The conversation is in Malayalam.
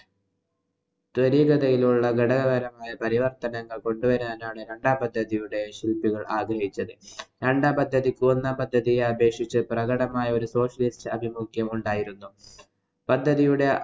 ത്വരിഗതയിലുള്ള ഘടക പരമായ പരിവര്‍ത്തനങ്ങള്‍ കൊണ്ട് വരാനാണ് രണ്ടാം പദ്ധതിയുടെ ശില്‍പികള്‍ ആഗ്രഹിച്ചത്. രണ്ടാം പദ്ധതിക്ക് ഒന്നാം പദ്ധതിയെ അപേക്ഷിച്ച് പ്രകടമായ socialist അഭിമുഖ്യം ഉണ്ടായിരുന്നു. പദ്ധതിയുടെ